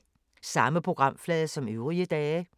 Samme programflade som øvrige dage